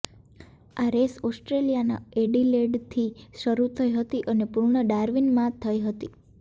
આ રેસ ઓસ્ટ્રેલિયાના એડિલેડથી શરૂ થઇ હતી અને પૂર્ણ ડાર્વિનમાંથઇ હતી